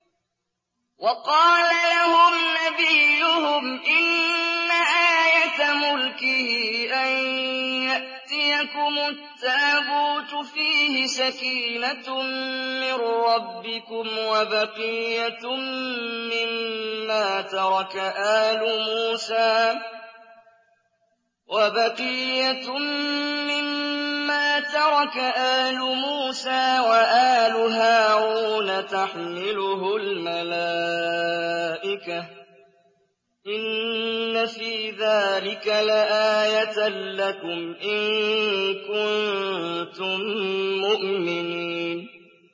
وَقَالَ لَهُمْ نَبِيُّهُمْ إِنَّ آيَةَ مُلْكِهِ أَن يَأْتِيَكُمُ التَّابُوتُ فِيهِ سَكِينَةٌ مِّن رَّبِّكُمْ وَبَقِيَّةٌ مِّمَّا تَرَكَ آلُ مُوسَىٰ وَآلُ هَارُونَ تَحْمِلُهُ الْمَلَائِكَةُ ۚ إِنَّ فِي ذَٰلِكَ لَآيَةً لَّكُمْ إِن كُنتُم مُّؤْمِنِينَ